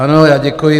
Ano, já děkuji.